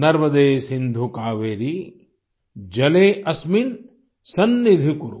नर्मदे सिन्धु कावेरी जले अस्मिन् सन्निधिं कुरु